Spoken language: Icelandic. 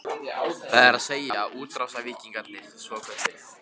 Það er að segja, útrásarvíkingarnir svokölluðu?